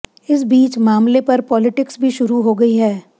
इस बीच मामले पर पॉलिटिक्स भी शुरू हो गई है